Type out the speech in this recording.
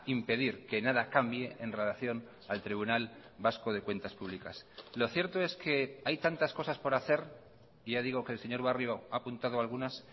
impedir que nada cambie en relación al tribunal vasco de cuentas públicas lo cierto es que hay tantas cosas por hacer ya digo que el señor barrio ha apuntado algunas